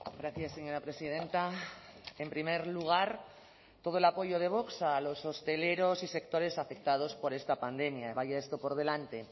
gracias señora presidenta en primer lugar todo el apoyo de vox a los hosteleros y sectores afectados por esta pandemia vaya esto por delante